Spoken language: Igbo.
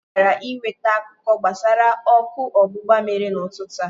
Ọ gara ị nweta akụkọ gbasara ọkụ ọgbụgba mere n'ụtụtụ a.